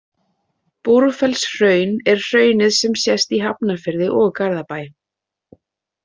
Búrfellshraun er hraunið sem sést í Hafnarfirði og Garðabæ.